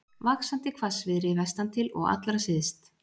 Vaxandi hvassviðri vestantil og allra syðst